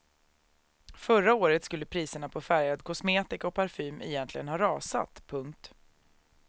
Förra året skulle priserna på färgad kosmetika och parfym egentligen ha rasat. punkt